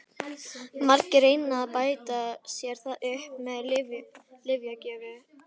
Margir reyna að bæta sér það upp með lyfjagjöf.